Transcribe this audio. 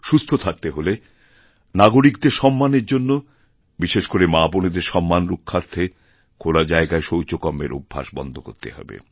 সুস্থ থাকতে হলেনাগরিকদের সম্মানের জন্য বিশেষ করে মাবোনেদের সম্মান রক্ষার্থে খোলা জায়গায়শৌচকর্মের অভ্যাস বন্ধ করতে হবে